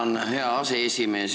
Tänan, hea aseesimees!